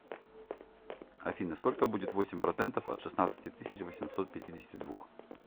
афина сколько будет восемь процентов от шестнадцати тысяч восемьсот пятидесяти двух